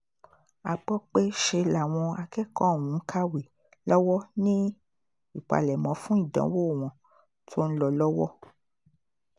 a gbọ́ pé ṣe làwọn akẹ́kọ̀ọ́ ọ̀hún ń kàwé lọ́wọ́ ní ìpalẹ̀mọ́ fún ìdánwò wọn tó ń lọ lọ́wọ́